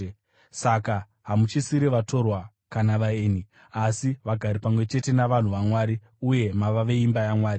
Saka, hamuchisiri vatorwa kana vaeni, asi vagari pamwe chete navanhu vaMwari uye mava veimba yaMwari,